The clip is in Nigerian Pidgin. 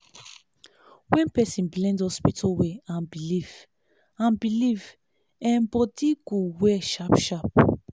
when person blend hospital way and belief and belief em body go well sharp sharp